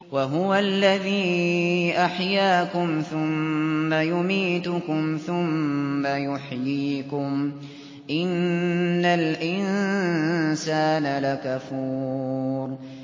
وَهُوَ الَّذِي أَحْيَاكُمْ ثُمَّ يُمِيتُكُمْ ثُمَّ يُحْيِيكُمْ ۗ إِنَّ الْإِنسَانَ لَكَفُورٌ